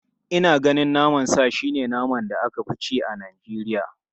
Ina ganin naman sa shi ne naman da aka fi ci a Najeriya.